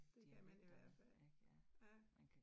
Det kan man i hvert fald. Ja